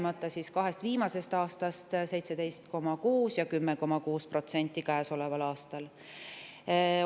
Rääkides kahest viimasest aastast: 17,6% ja käesoleval aastal on see 10,6%.